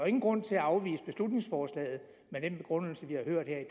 ingen grund til at afvise beslutningsforslaget med den begrundelse vi har hørt her i